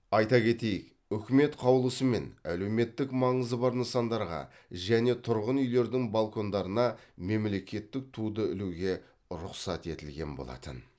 айта кетейік үкімет қаулысымен әлеуметтік маңызы бар нысандарға және тұрғын үйлердің балкондарына мемлекеттік туды ілуге рұқсат етілген болатын